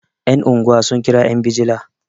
yan' unguwa sun kira yan bijila